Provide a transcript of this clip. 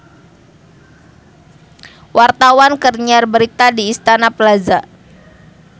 Wartawan keur nyiar berita di Istana Plaza